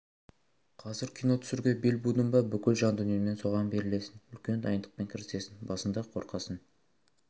қазір кино түсіруге бел будың ба бүкіл жан-дүниеңмен соған берілесің үлкен дайындықпен кірісесің басында қорқасың